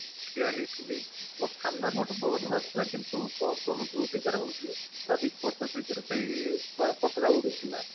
ଠିଆ ହେଇଥିଲି ମୋ ସମ୍ନ୍ନା ପଟୁ ପବନ ବାଯୁ ଥିଲା କିନ୍ତୁ ପବନ ଯୋଉ ଦିଗ ରେ ହୋଉଛି ତାର ବିପରୀତ ଦିଗରେ ପତାକା ଉଡୁଥିଲା